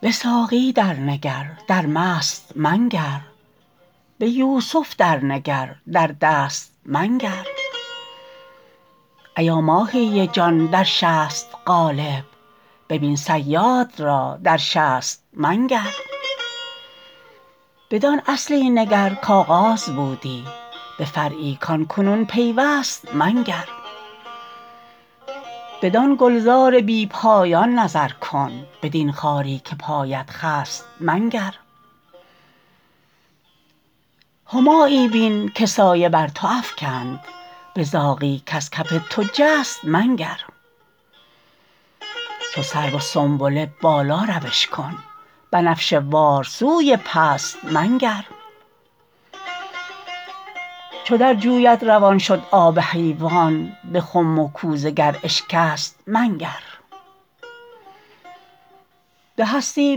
به ساقی درنگر در مست منگر به یوسف درنگر در دست منگر ایا ماهی جان در شست قالب ببین صیاد را در شست منگر بدان اصلی نگر کغاز بودی به فرعی کان کنون پیوست منگر بدان گلزار بی پایان نظر کن بدین خاری که پایت خست منگر همایی بین که سایه بر تو افکند به زاغی کز کف تو جست منگر چو سرو و سنبله بالاروش کن بنفشه وار سوی پست منگر چو در جویت روان شد آب حیوان به خم و کوزه گر اشکست منگر به هستی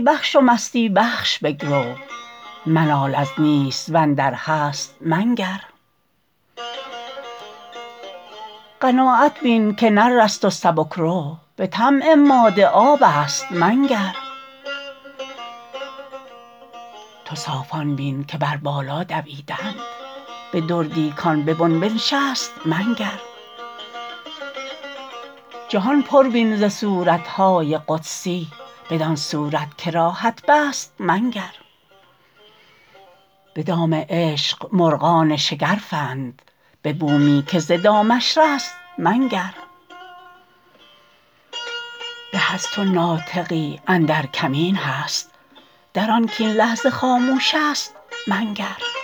بخش و مستی بخش بگرو منال از نیست و اندر هست منگر قناعت بین که نرست و سبک رو به طمع ماده آبست منگر تو صافان بین که بر بالا دویدند به دردی کان به بن بنشست منگر جهان پر بین ز صورت های قدسی بدان صورت که راهت بست منگر به دام عشق مرغان شگرفند به بومی که ز دامش رست منگر به از تو ناطقی اندر کمین هست در آن کاین لحظه خاموشست منگر